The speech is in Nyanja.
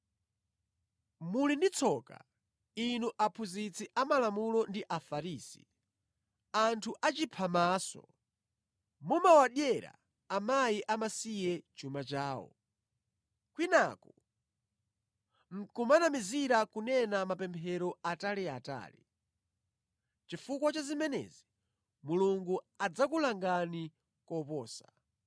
Muli ndi tsoka, inu aphunzitsi amalamulo ndi Afarisi, anthu achiphamaso! Mumawadyera akazi amasiye chuma chawo, kwinaku nʼkumanamizira kunena mapemphero ataliatali. Chifukwa cha zimenezi Mulungu adzakulangani koposa.